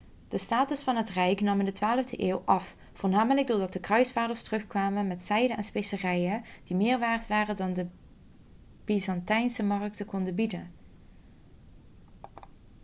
de status van het rijk nam in de 12e eeuw af voornamelijk doordat de kruisvaarders terugkwamen met zijde en specerijen die meer waard waren dan wat de byzantijnse markten konden bieden